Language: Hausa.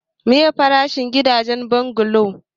meye farashin gida shigen bungalo?